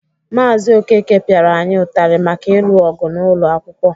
Maazị Okeke pịara anyị ụtarị maka ịlụ ọgụ n'ụlọ akwụkwọ.